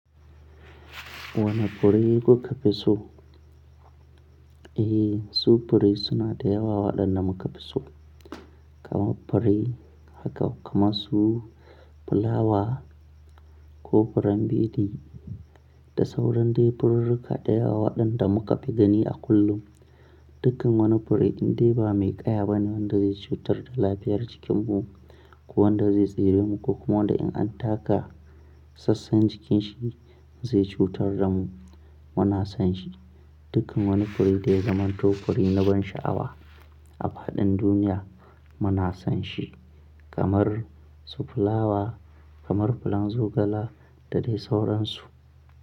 Wane fure kuka fi so? Eh, su fure suna da yawa waɗanda muka fi so. Kama fure haka kamar su fulawa ko furen bidi da sauran dai furirrika da yawa waɗanda muka fi gani a kullum. Dukkan wani fure in dai ba mai ƙaya bane wanda zai cutar da lafiyar jikinmu ko wanda zai tsire mu ko kuma wanda in an taka sassan jikin shi zai cutar da mu. Muna son shi. Dukkan wani fure dai zamanto fure na ban sha'awa a faɗin duniya muna son shi kamar su fulawa kamar furen zogala da dai sauransu.